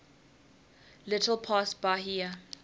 little past bahia